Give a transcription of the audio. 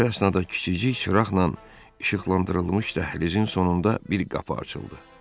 Bu əsnada kiçicik çıraqla işıqlandırılmış dəhlizin sonunda bir qapı açıldı.